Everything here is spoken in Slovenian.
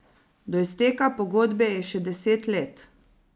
Do izteka pogodbe je še deset let.